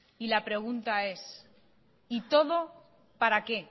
y la pregunta es y todo para qué